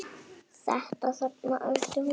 Þetta þarna, æpti hún.